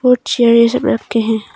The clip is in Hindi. कुछ चेयर ये सब रखे हैं।